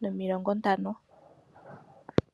nomilongo ntano.